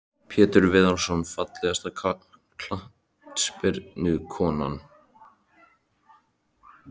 Pétur Viðarsson Fallegasta knattspyrnukonan?